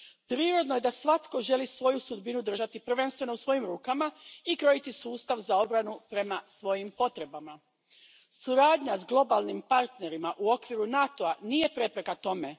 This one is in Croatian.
Prirodno je da svatko želi svoju sudbinu držati prvenstveno u svojim rukama i krojiti sustav za obranu prema svojim potrebama. Suradnja s globalnim partnerima u okviru NATO a nije prepreka tome.